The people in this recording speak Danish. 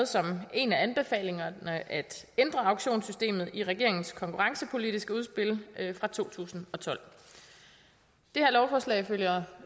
som en af anbefalingerne at ændre auktionssystemet i regeringens konkurrencepolitiske udspil fra to tusind og tolv det her lovforslag følger